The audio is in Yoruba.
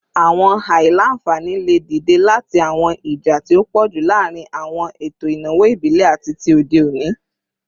Awọn aila-nfani le dide lati awọn ija ti o pọju laarin awọn eto inawo ibile ati ti ode oni